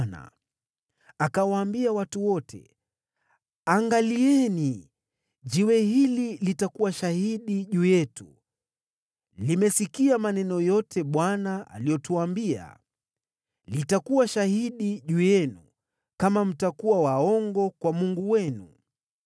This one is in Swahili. Yoshua akawaambia watu wote, “Angalieni! Jiwe hili litakuwa shahidi juu yetu. Limesikia maneno yote Bwana aliyotuambia. Litakuwa shahidi juu yenu kama mtakuwa waongo kwa Mungu wenu.”